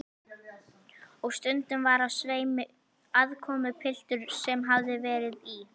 Og stundum var á sveimi aðkomupiltur sem hafði verið í